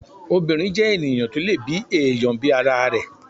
obìnrín jẹ́ ènìyàn tó lè bi èèyàn bí ara rẹ̀